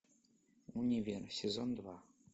универ сезон два